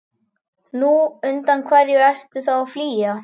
Nú, undan hverju ertu þá að flýja?